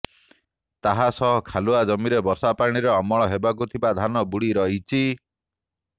ତାହାସହ ଖାଲୁଆ ଜମିରେ ବର୍ଷାପାଣିରେ ଅମଳ ହେବାକୁ ଥିବା ଧାନ ବୁଡି ରହିଛି